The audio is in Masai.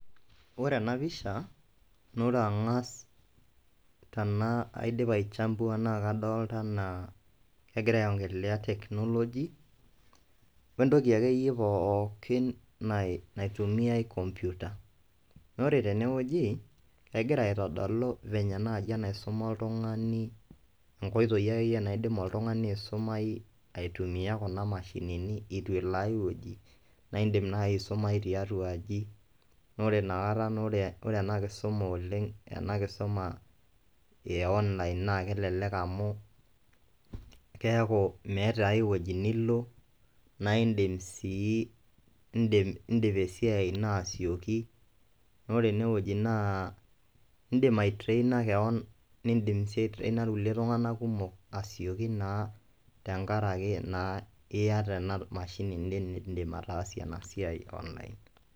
Ore ena pisha naa ore ang'as tenaa aidipa aichambua naake adolta enaa kegira aiong'elelea teknoloji we entoki akeyie pookin nai naitumiai komputa. Naa ore tene wueji kegira aitodolu venye naiji enaisuma oltung'ani nkoitoi akeyie naidim oltung'ani aisumai aitumia kuna mashinini itu elo ai wueji naa iindim nai aisumayu tiatua aji naa ore inakata naa ore ore ena kisuma oleng' ena kisuma e online naake elelek amu keeku meeta ai woji nilo naa iindim sii indim iindip esiai ino asioki naa ore ene wueji naa indim aitraina keon, niindim sii aitraina irkulie tung'anak kumok asioki naa tenkaraki naa iyata ena mashini niindim ataasie ena amshini niindim ataasie ena siai online.